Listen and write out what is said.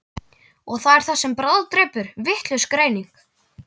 Og það er það sem bráðdrepur, vitlaus greining.